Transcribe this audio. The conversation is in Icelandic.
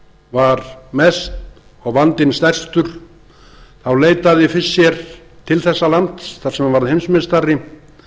var mest og vandinn stærstur þá leitaði fischer til þessa lands þar sem hann varð heimsmeistari